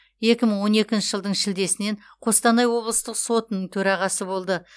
екі мың он екінші жылдың шілдесінен қостанай облыстық сотының төрағасы болды